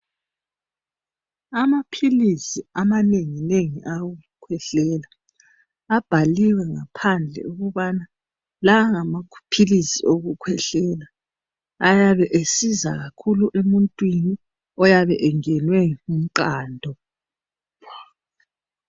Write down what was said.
Amaphilisi amanenginengi awokukhwehlela abhaliwe ngaphandle ukubana la ngamaphilisi okukhwehlela. Ayabe esiza kakhulu emuntwini oyabe engenwe ngomqando.